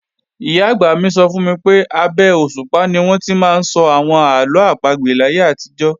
Ìyá-àgbà mi sọ fún mi pé, abé òṣùpá ni wọ́n ti máa ń sọ àwọn àlọ́ àpagbè láyé àtijọ́